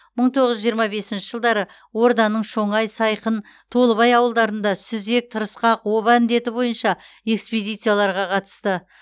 мың тоғыз жүз жиырма бесінші жылдары орданың шоңай сайқын толыбай ауылдарында сүзек тырысқақ оба індеті бойынша экспедицияларға қатысты